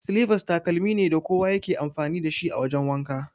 Silifas takalmi ne da kowa ya ke amfani dashi a wajan wanka.